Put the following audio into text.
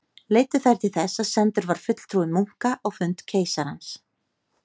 Leiddu þær til þess að sendur var fulltrúi munka á fund keisarans.